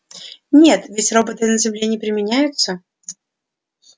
нет ведь роботы на земле не применяются